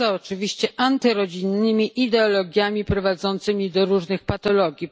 Poza, oczywiście, antyrodzinnymi ideologiami prowadzącymi do różnych patologii.